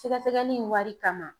Sɛgɛsɛgɛli in wari kama